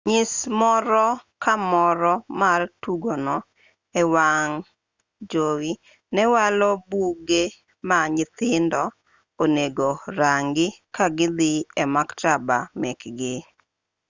nyis moro ka moro mar tugono e wang' jowi ne walo buge ma nyithindo onego rangi ka gidhi e maktaba mekgi